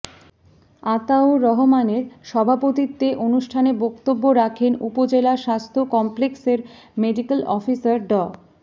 আতাউর রহমানের সভাপতিত্বে অনুষ্ঠানে বক্তব্য রাখেন উপজেলা স্বাস্থ্য কমপ্লেক্সের মেডিক্যাল অফিসার ডা